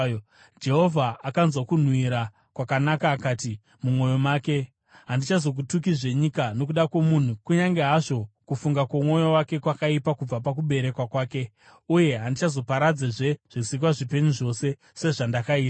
Jehovha akanzwa kunhuhwira kwakanaka akati mumwoyo make, “Handichazotukazve nyika nokuda kwomunhu, kunyange hazvo kufunga kwomwoyo wake kwakaipa kubva pakuberekwa kwake. Uye handichazoparadzazve zvisikwa zvipenyu zvose, sezvandakaita.